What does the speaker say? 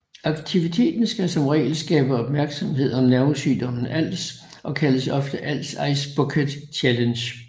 Aktiviteten skal som regel skabe opmærksomhed om nervesygdommen ALS og kaldes ofte ALS Ice Bucket Challenge